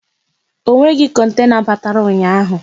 Ọ nweghị kontena batara ụnyaahụ